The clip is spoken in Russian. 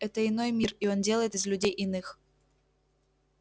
это иной мир и он делает из людей иных